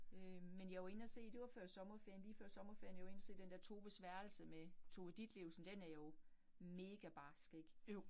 Øh men jeg var inde og se, det var før sommerferien, lige før sommerferien. Jeg var inde og se den der Toves værelse med Tove Ditlevsen, den er jo mega barsk ik